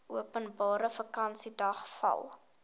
openbare vakansiedag val